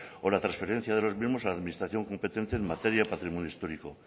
o la transferencia de los mismos a la administración competente en materia patrimonio histórico